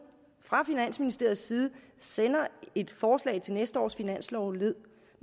fra finansministeriets side sender et forslag til næste års finanslov